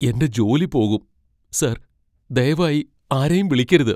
എന്റെ ജോലി പോകും , സർ. ദയവായി ആരെയും വിളിക്കരുത്.